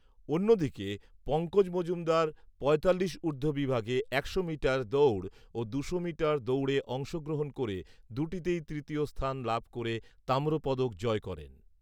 অন্যদিকে, পঙ্কজ মজুমদার পঁয়তাল্লিশ ঊর্ধ্ব বিভাগে একশো মিটার দৌড় ও দুশো মিটার দৌড়ে অংশগ্রহণ করে দুটিতেই তৃতীয় স্থান লাভ করে তাম্র পদক জয় করেন